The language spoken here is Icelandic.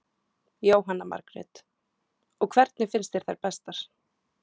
Jóhanna Margrét: Og hvernig finnst þér þær bestar?